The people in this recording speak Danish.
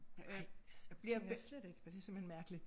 Ej ham kender jeg slet ikke og det simpelthen mærkeligt